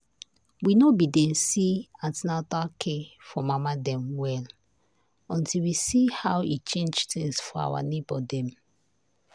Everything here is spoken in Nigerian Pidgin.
we no been dey see an ten atal care for mama dem well until we see how e change things for our neighbor dem.